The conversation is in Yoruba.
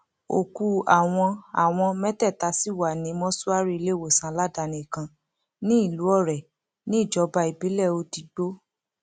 òkú àwọn àwọn mẹtẹẹta sì wà ní mọṣúárì iléewòsàn aládàáni kan nílùú ọrẹ níjọba ìbílẹ odigbo